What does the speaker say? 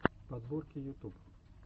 подборки ютуб